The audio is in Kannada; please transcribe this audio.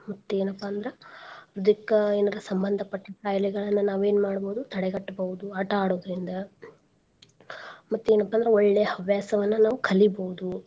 ಮತ್ತೇನಪಾ ಅಂದ್ರ ಇದಕ್ಕ ಎನರ ಸಂಬಂದ್ಪಟ್ಟಿದ್ ಖಾಯ್ಲೆಗಳನ್ನ ನಾವ್ ಏನ್ ಮಾಡ್ಬೋದು ತಡೆ ಗಟ್ಟ್ಬೋದು ಆಟಾ ಆಡೋದ್ರಿಂದ. ಮತ್ತೇನಪಾ ಅಂದ್ರ ಒಳ್ಳೆ ಹವ್ಯಾಸವನ್ನ ನಾವ್ ಕಲಿಬೋದು.